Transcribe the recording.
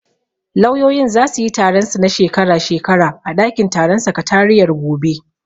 Lauyoyin zasu yi taron su na shekara shekara a ɗakin taron sakatariyar gobe.